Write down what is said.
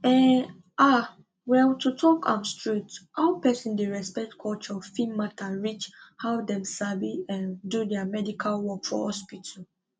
um ah well to talk am straight how person dey respect culture fit matter reach how dem sabi um do their medical work for hospital